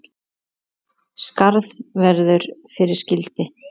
Skarð verður fyrir skildi.